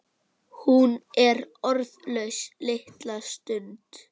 Hún er orðlaus litla stund.